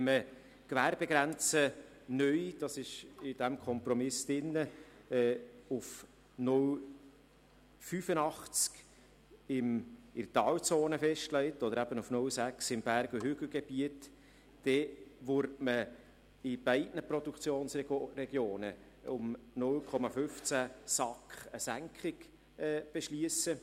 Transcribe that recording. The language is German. Wenn man die Gewerbegrenze neu, wie in diesem Kompromiss vorgesehen, auf 0,85 SAK in Talzonen und auf 0,6 SAK im Berg- und Hügelgebiet festlegt, dann würde man in beiden Produktionsregionen eine Senkung um 0,15 SAK beschliessen.